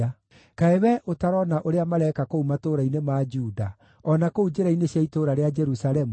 Kaĩ wee ũtarona ũrĩa mareka kũu matũũra-inĩ ma Juda, o na kũu njĩra-inĩ cia itũũra rĩa Jerusalemu?